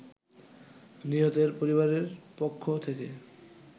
নিহতের পরিবারের পক্ষ থেকে